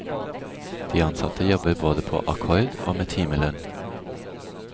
De ansatte jobber både på akkord og med timelønn.